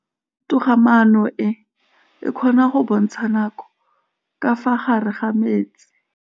Toga-maanô e, e kgona go bontsha nakô ka fa gare ga metsi.